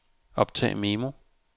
optag memo